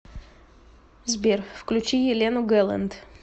сбер включи елену гэлэнт